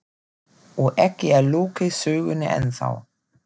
Og ekki er lokið sögunni ennþá.